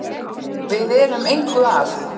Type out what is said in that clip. Við erum engu að